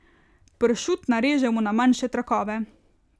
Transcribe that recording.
Pršut narežemo na manjše trakove.